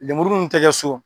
Lemurumun te kɛ so